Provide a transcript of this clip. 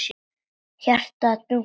Hjartað dunk dunk.